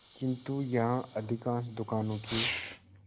किंतु यहाँ अधिकांश दुकानों के